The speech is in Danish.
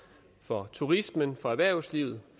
for turismen for erhvervslivet